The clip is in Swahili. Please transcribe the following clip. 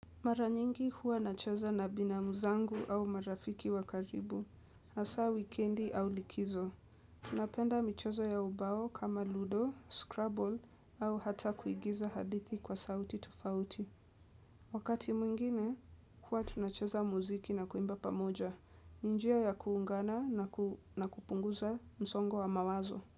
Mara nyingi huwa nachaza na binamu zangu au marafiki wa karibu, asa wikendi au likizo. Tunapenda michezo ya ubao kama ludo, scrubble au hata kuigiza hadithi kwa sauti tofauti. Wakati mwingine, huwa tunachaza muziki na kuimba pamoja. Ni njia ya kuungana na kupunguza msongo wa mawazo.